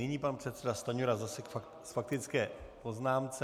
Nyní pan předseda Stanjura zase k faktické poznámce.